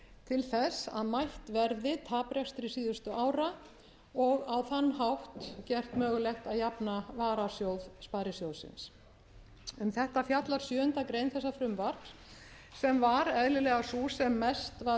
til þess að mætt verði taprekstri síðustu ára og á þann hátt gert mögulegt að jafna varasjóð sparisjóðsins um þetta fjallar sjöundu greinar þessa frumvarps sem var eðlilega sú sem mest var um